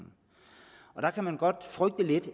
er der kan man godt frygte lidt